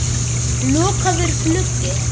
Lokaður gluggi.